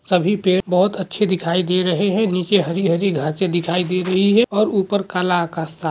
सभी पेड़ बहुत अच्छे दिखाई दे रहे है नीचे हरि-हरि घासे दिखाई दे रही है और ऊपर काला आकाश सा --